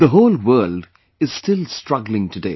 The whole world is still struggling today